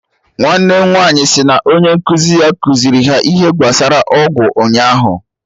Nwanne m nwaanyị si na onye nkụzi ya kuziri ha ihe gbasara ọgwụ ụnyaahụ